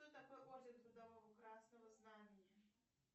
что такое орден трудового красного знамени